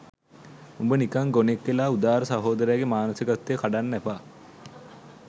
උඹ නිකං ගොනෙක් වෙලා උදාර සහෝදරයගේ මානසිකත්වය කඩන්න එපා